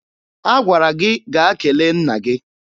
Agwara gị gaa kele nna gị!